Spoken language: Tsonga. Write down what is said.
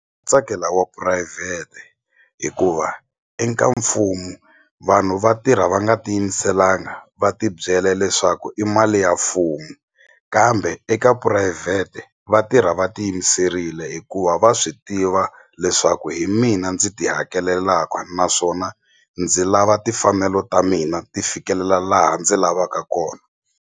Tsakela wa phurayivhete hikuva eka mfumo vanhu va tirha va nga ti yimiselanga va tibyela leswaku i mali ya mfumo kambe eka phurayivhete va tirha va ti yimiserile hikuva va swi tiva leswaku hi mina ndzi ti hakelelaka naswona ndzi lava timfanelo ta mina ti fikelela laha ndzi lavaka kona.